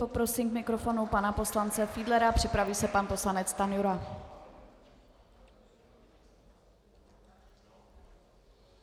Poprosím k mikrofonu pana poslance Fiedlera, připraví se pan poslanec Stanjura.